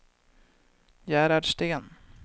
Gerhard Sten